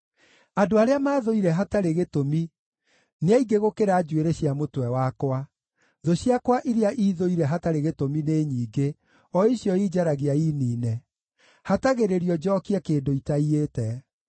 Andũ arĩa maathũire hatarĩ gĩtũmi nĩ aingĩ gũkĩra njuĩrĩ cia mũtwe wakwa; thũ ciakwa iria iithũire hatarĩ gĩtũmi nĩ nyingĩ, o icio injaragia iniine. Hatagĩrĩrio njookie kĩndũ itaiyĩte.